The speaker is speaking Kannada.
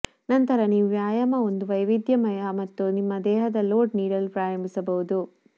ನಂತರ ನೀವು ವ್ಯಾಯಾಮ ಒಂದು ವೈವಿದ್ಯಮಯ ಮತ್ತು ನಿಮ್ಮ ದೇಹದ ಲೋಡ್ ನೀಡಲು ಪ್ರಾರಂಭಿಸಬಹುದು